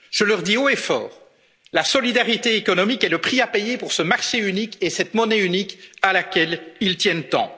européenne. Je leur dis haut et fort la solidarité économique est le prix à payer pour ce marché unique et cette monnaie unique à laquelle ils tiennent